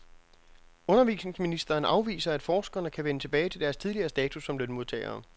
Undervisningsministeren afviser, at forskerne kan vende tilbage til deres tidligere status som lønmodtagere.